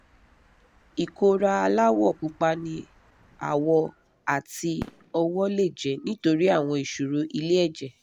ìkólára aláwọ̀ pupa ní àwọ̀ àti ọwọ́ lè jẹ́ nítorí àwọn ìṣòro ilẹ̀ ẹjẹ̀